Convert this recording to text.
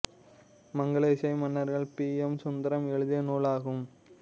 மங்கல இசை மன்னர்கள் P M Sundaram எழுதிய நூலாகும்